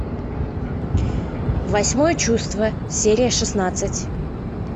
восьмое чувство серия шестнадцать